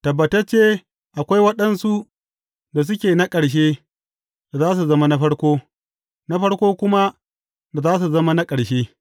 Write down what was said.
Tabbatacce, akwai waɗansu da suke na ƙarshe, da za su zama na farko, na farko kuma, da za su zama na ƙarshe.